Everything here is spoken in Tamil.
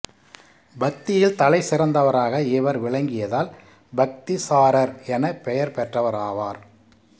பக்தியில் தலை சிறந்தவராக இவர் விளங்கியதால் பக்திசாரர் என பெயர் பெற்றவராவார்